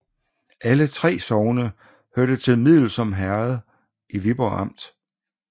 Alle 3 sogne hørte til Middelsom Herred i Viborg Amt